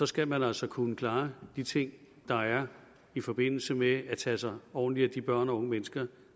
skal man altså kunne klare de ting der er i forbindelse med at tage sig ordentligt af de børn og unge mennesker